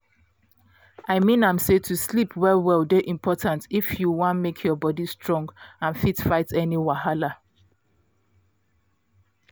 i mean am say to sleep well well dey important if you wan make your body strong and fit fight any wahala